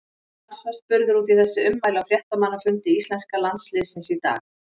Lars var spurður út í þessi ummæli á fréttamannafundi íslenska landsliðsins í dag.